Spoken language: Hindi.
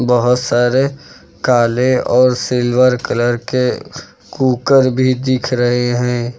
बहुत सारे काले और सिल्वर कलर के कुकर भी दिख रहे हैं।